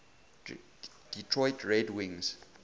detroit red wings